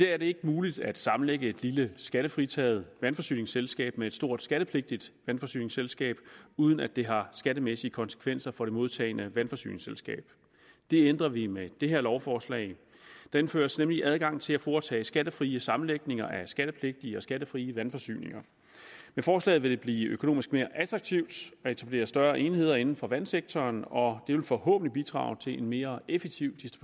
er det ikke muligt at sammenlægge et lille skattefritaget vandforsyningsselskab med et stort skattepligtigt vandforsyningsselskab uden at det har skattemæssige konsekvenser for det modtagende vandforsyningsselskab det ændrer vi med det her lovforslag der indføres nemlig adgang til at foretage skattefrie sammenlægninger af skattepligtige og skattefrie vandforsyninger med forslaget vil det blive økonomisk mere attraktivt at etablere større enheder inden for vandsektoren og det vil forhåbentlig bidrage til en mere effektiv